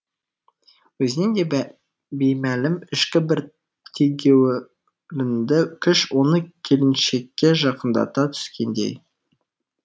өзіне де беймәлім ішкі бір тегеурінді күш оны келіншекке жақындата түскендей